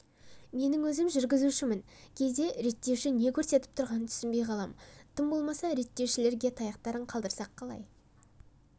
менің өзім жүргізушімін кейде реттеуші не көрсетіп тұрғанын түсінбей қалам тым болмаса реттеушілерге таяқтарын қалдырсақ қалай